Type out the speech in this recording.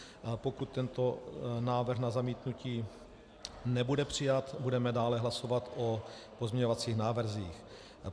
Pokud tento návrh na zamítnutí nebude přijat, budeme dále hlasovat o pozměňovacích návrzích.